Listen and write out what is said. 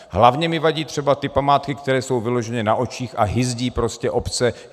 Hlavně mi vadí třeba ty památky, které jsou vyloženě na očích a hyzdí prostě obce.